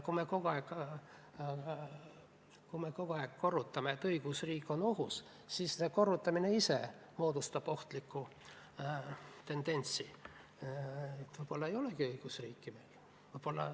Kui me kogu aeg korrutame, et õigusriik on ohus, siis see korrutamine ise moodustab ohtliku tendentsi – võib-olla meil ei olegi õigusriiki.